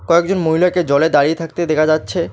কয়েকজন মহিলাকে জলে দাঁড়িয়ে থাকতে দেখা যাচ্ছে।